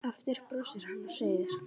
Aftur brosir hann og segir